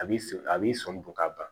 A b'i so a b'i sɔmi don ka ban